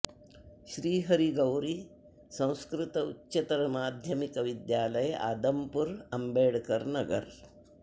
श्री हरि गौरी संस्कृत उच्चतर माध्यमिक विद्यालय आदमपुर अम्बेडकरनगर